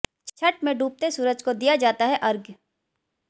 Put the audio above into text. छठ में डूबते सूरज को दिया जाता है अर्घ्य